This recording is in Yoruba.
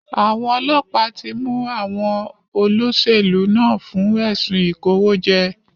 Àwọn ọlọ́pàá tí mú àwọn olóṣèlú náà fún ẹ̀sùn ìkòwójẹ́.